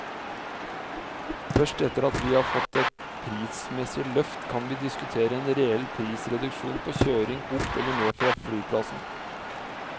Først etter at vi har fått et prismessig løft, kan vi diskutere en reell prisreduksjon på kjøring opp eller ned fra flyplassen.